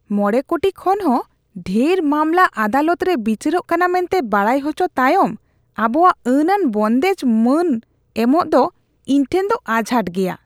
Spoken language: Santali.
᱕ ᱠᱳᱴᱤ ᱠᱷᱚᱱ ᱦᱚᱸ ᱰᱷᱮᱨ ᱢᱟᱢᱞᱟ ᱟᱫᱟᱞᱚᱛ ᱨᱮ ᱵᱤᱪᱟᱹᱨᱚᱜ ᱠᱟᱱᱟ ᱢᱮᱱᱛᱮ ᱵᱟᱰᱟᱭ ᱦᱚᱪᱚ ᱛᱟᱭᱚᱢ ᱟᱵᱚᱣᱟᱜ ᱟᱹᱱᱟᱱ ᱵᱚᱱᱫᱮᱡ ᱢᱟᱹᱱ ᱮᱢᱚᱜ ᱫᱚ ᱤᱧ ᱴᱷᱮᱱ ᱫᱚ ᱟᱡᱷᱟᱴ ᱜᱮᱭᱟ ᱾